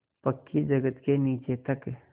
पक्की जगत के नीचे तक